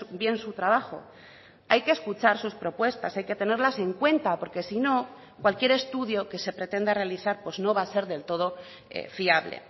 bien su trabajo hay que escuchar sus propuestas hay que tenerlas en cuenta porque si no cualquier estudio que se pretenda realizar no va a ser del todo fiable